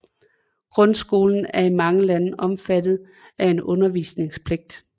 Grundskolen er i mange lande omfattet af en undervisningspligt